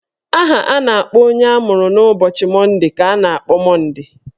Aha a na-akpọ onye amụrụ n'ụbọchị Monde ka a na-akpọ Monde.